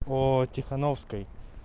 по тихоновской